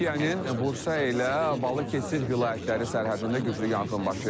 Türkiyənin Bursa ilə Balıkəsir vilayətləri sərhədində güclü yanğın baş verib.